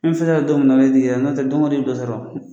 N'an sera yan don min na tɛ don o don i bɛ dɔ sɔrɔ.